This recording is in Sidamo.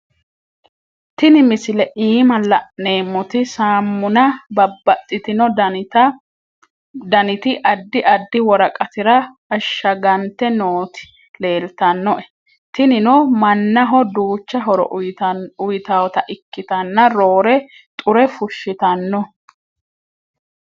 Tini misilete iima la`nemoti saamunna babaxitino daniti adi adi woraqatira ashagante nooti leeltanoe. Tinino manaho duucha horo uyitawota ikitana roore xure fushitano.